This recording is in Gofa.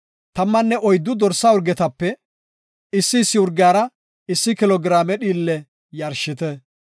tammanne oyddu dorsa urgetape issi issi urgiyara issi kilo giraame dhiille yarshite.